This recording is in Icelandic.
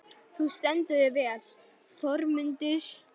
Þú stendur þig vel, Þormundur!